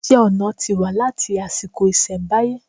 Iṣẹ́-ọnà ti wà láti àsìkò ìṣẹ̀mbáyé.